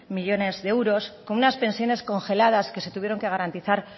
millónes de euros con unas pensiones congeladas que se tuvieron que garantizar